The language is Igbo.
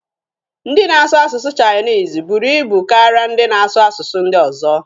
Ndị na-asụ asụsụ chainisi buru ibu karịa ndị na-asu asụsụ ndị ọzọ.